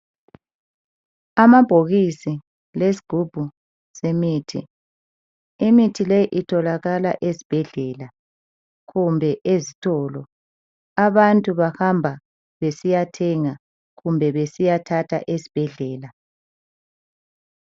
Amabhokisi lezigubhu zemithi. Imithi leyi, itholakala ezibhedlela, kumbe ezitolo. Abantu bahamba besiyathenga, kumbe besiyathatha ezibhedlela.